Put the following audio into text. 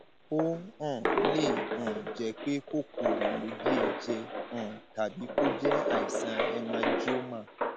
ó um lè um jẹ pé kòkòrò ló gé e jẹ um tàbí kó jẹ àìsàn hemangioma